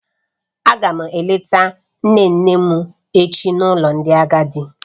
Aga m eleta nne nne m echi n'ụlọ ndị agadi.